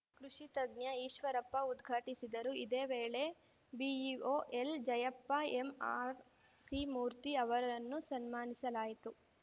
ಕೃಷಿ ತಜ್ಞ ಈಶ್ವರಪ್ಪ ಉದ್ಘಾಟಿಸಿದರು ಇದೇ ವೇಳೆ ಬಿಇಒ ಎಲ್‌ಜಯಪ್ಪ ಎಂಆರ್‌ಸಿಮೂರ್ತಿ ಅವರನ್ನು ಸನ್ಮಾನಿಸಲಾಯಿತು